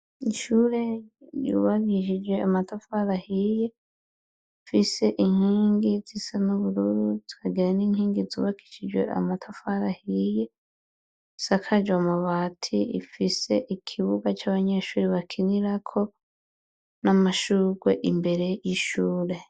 Ishure ryubakishije amatafara hiye, zifise inkingi zisa n'ubururu, zikagira n'inkingi zubakishijwe amatafara hiye, zisakaje amabati ,ifise ikibuga c'abanyeshuri bakinirako, n'amashugwe imbere y'ishure.